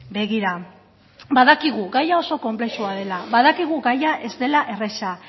begira badakigu gaia oso konplexua dela badakigu gaia ez dela erraza